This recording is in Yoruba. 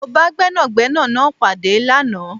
Mó bá Gbẹ́nàgbẹ́nà náà pàdé lánàá